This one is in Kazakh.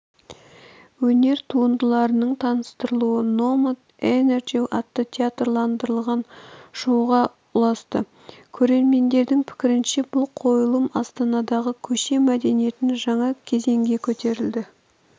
өнер туындыларының таныстырылуы номад энерджи атты театрландырылған шоуға ұласты көрермендердің пікірінше бұл қойылым астанадағы көше мәдениетін жаңа кезеңге көтерді